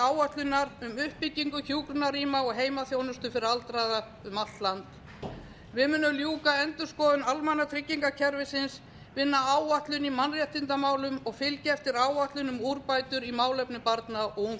áætlunar um uppbyggingu hjúkrunarrýma og heimaþjónustu fyrir aldraða um allt land við munum ljúka endurskoðun almannatryggingakerfisins vinna áætlun í mannréttindamálum og fylgja eftir áætlun um úrbætur í málefnum barna og